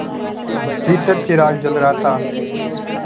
भीतर चिराग जल रहा था